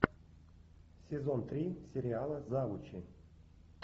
сезон три сериала завучи